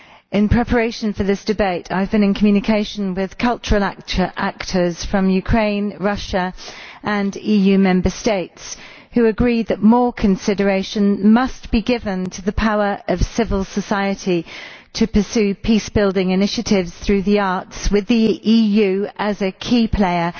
In preparation for this debate, I have been in communication with cultural actors from Ukraine, Russia and EU Member States, who agree that more consideration must be given to the power of civil society to pursue peace building initiatives through the arts, with the EU as a key player